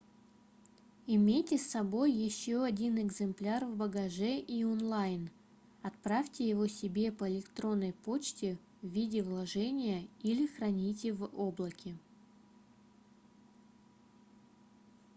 имейте с собой ещё один экземпляр в багаже и онлайн отправьте его себе по электронной почте в виде вложения или храните в облаке"